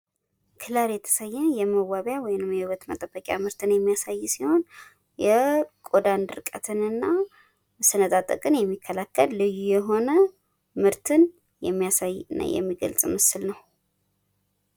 ክለር የተሰኘ የመዋቢያ ወይም የዉበት መጠበቂያ ምርትን የሚያሳይ ሲሆን የቆዳ ድርቀትን እና መሰነጣጠቅን የሚከላከል ልዩ የሆነ ምርትን የሚያስይ እና የሚገልጽ ምስል ነው።